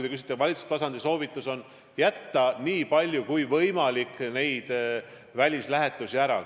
Valitsustasandi soovitus on jätta nii palju kui võimalik välislähetusi ära.